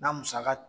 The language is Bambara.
Na musaka